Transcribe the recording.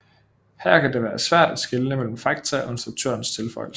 Her kan det være svært at skelne mellem fakta og instruktørens tilføjelser